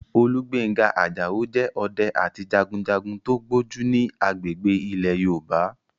Olúgbénga Àjàó jẹ́ ọdẹ àti jagunjagun tó gbójú ní agbègbè ilẹ̀ Yorùbá